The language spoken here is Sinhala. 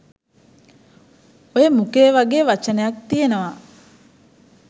ඔය මුඛය වගෙ වචනයක් තියෙනවා